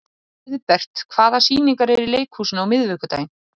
Auðbert, hvaða sýningar eru í leikhúsinu á miðvikudaginn?